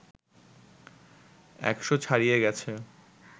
১০০ ছাড়িয়ে গেছে